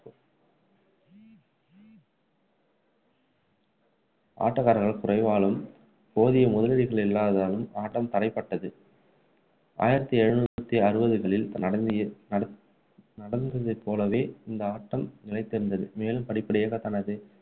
ஆட்டக்காரர்கள் குறைவாலும் போதிய முதலீடு இல்லாததாலும் ஆட்டம் தடைபட்டது ஆயிரத்து எழுநூற்று அறுபதுகளில் நடந் நடந்து நடந்ததை போலவே இந்த ஆட்டம் நிலைத்திருந்தது மேலும் படிப்படியாக தனது